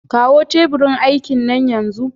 Kawo teburin aikin nan yanzu!